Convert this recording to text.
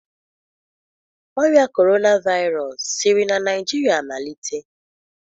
Ọrịa Corona Virus siri na Naijiria malite?